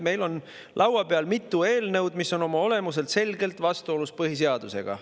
Meil on laua peal mitu eelnõu, mis on oma olemuselt selgelt vastuolus põhiseadusega.